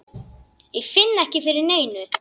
Ég finn ekki fyrir neinu.